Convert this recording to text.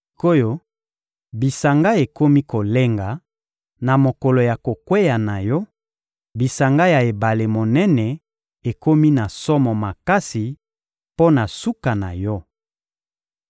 Sik’oyo bisanga ekomi kolenga, na mokolo ya kokweya na yo, bisanga ya ebale monene ekomi na somo makasi mpo na suka na yo.›